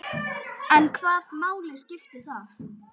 En hvaða máli skiptir það?